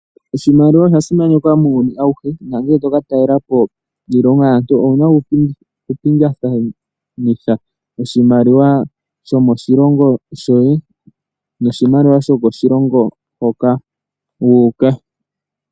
Oshimaliwa osha simanekwa muuyuni awuhe, na ngele toka talelapo kiilongo yaantu owuna okupingathanitha oshimaliwa sho moshilongo shoye, sho koshilongo hoka wu uka.